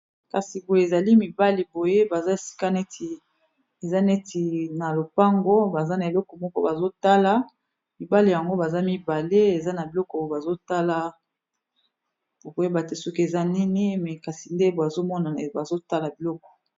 Kasi boye ezali mibale boye baza esika netieza neti na lopango, baza na eleko moko bazotala mibale yango baza mibale eza na biloko bazotala bokoyebate soki eza nini me kasi nde bazomona bazotala biloko.